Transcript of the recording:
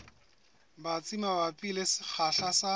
batsi mabapi le sekgahla sa